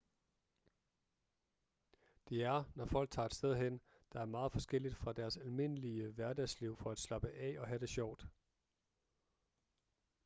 det er når folk tager et sted hen der er meget forskelligt fra deres almindelige hverdagsliv for at slappe af og have det sjovt